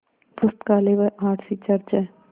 पुस्तकालय व R C church हैं